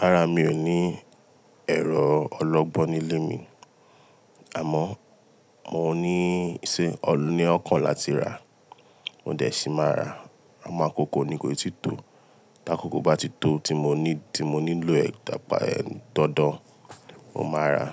Rárá, mi ò ní ẹ̀rọ ọlọ́gbọ́n nílé mi. Àmọ́ mo ní ìṣe, ní ọ̀kàn láti rà. Mo dẹ̀ sí máa rà, àmọ́ akòkò nì kòi tì tó. Tí akòkò bá ti tó, tí mo ní, tí mo nílò ẹ̀ tàpá ẹ dandan, mo máa rà.